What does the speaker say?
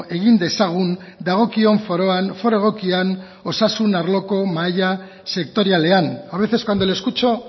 egin dezagun dagokion foroan foro egokian osasun arloko mahai sektorialean a veces cuando le escucho